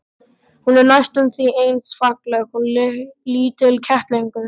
Hún er næstum því eins falleg og lítill kettlingur.